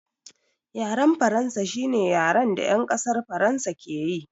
Yaren faransa shine yaren da yan ƙasar faransa ke yi